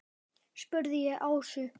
spurði ég Ásu.